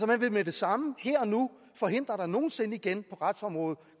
man vil med det samme her og nu forhindre at der nogen sinde igen på retsområdet